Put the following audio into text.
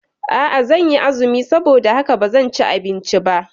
A'a, zanyi azumi saboda haka bazan ci abinci ba